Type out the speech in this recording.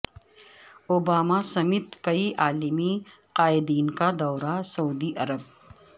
Obama سمیت کئی عالمی قائدین کا دورہ سعودی عرب